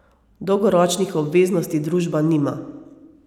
Dolgoročnih obveznosti družba nima.